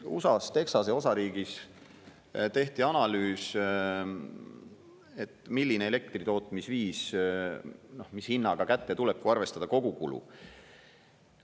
USA-s Texase osariigis tehti analüüs, milline elektritootmisviis mis hinnaga kätte tuleb, kui arvestada kogukulu.